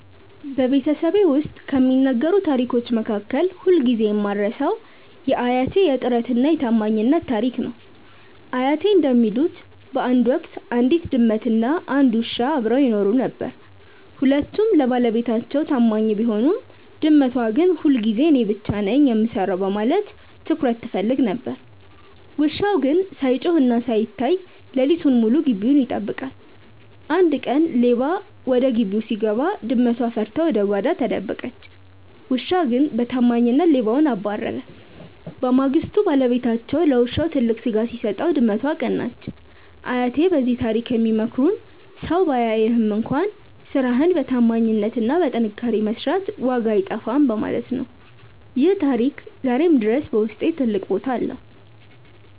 በቤተሰቤ ውስጥ ከሚነገሩ ታሪኮች መካከል ሁልጊዜ የማልረሳው የአያቴ "የጥረትና የታማኝነት" ታሪክ ነው። አያቴ እንደሚሉት፣ በአንድ ወቅት አንዲት ድመትና አንድ ውሻ አብረው ይኖሩ ነበር። ሁለቱም ለባለቤታቸው ታማኝ ቢሆኑም፣ ድመቷ ግን ሁልጊዜ እኔ ብቻ ነኝ የምሰራው በማለት ትኩረት ትፈልግ ነበር። ውሻው ግን ሳይጮህና ሳይታይ ሌሊቱን ሙሉ ግቢውን ይጠብቃል። አንድ ቀን ሌባ ወደ ግቢው ሲገባ፣ ድመቷ ፈርታ ወደ ጓዳ ተደበቀች። ውሻው ግን በታማኝነት ሌባውን አባረረ። በማግስቱ ባለቤታቸው ለውሻው ትልቅ ስጋ ሲሰጠው፣ ድመቷ ቀናች። አያቴ በዚህ ታሪክ የሚመክሩን ሰው ባያይህም እንኳን ስራህን በታማኝነትና በጥንካሬ መስራት ዋጋው አይጠፋም በማለት ነው። ይህ ታሪክ ዛሬም ድረስ በውስጤ ትልቅ ቦታ አለው።